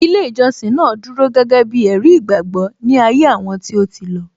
Ilé ìjọsìn náà dúró gẹ́gẹ́ bí ẹ̀rí ìgbàgbọ́ ní ayé àwọn tí ó ti lọ